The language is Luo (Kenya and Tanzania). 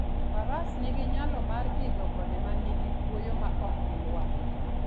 Faras nigi nyalo mar idho gode ma nigi kuoyo maok gilwar.